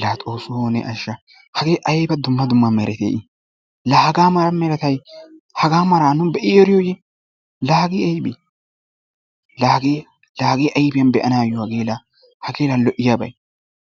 Laa xoossoo ne ashsha hagee ayba dumma duma meretee i! lahagaa meretay hagaa malaa nu be'i eriyooye? la ahee aybee la hagee ayfiyaan be"anayoo la hakeena lo"iyaabay